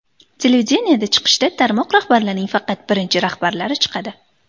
Televideniyeda chiqishda tarmoq rahbarlarining faqat birinchi rahbarlari chiqadi.